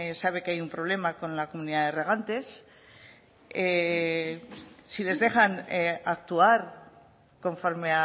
sabe que hay un problema con la comunidad de regantes si les dejan actuar conforme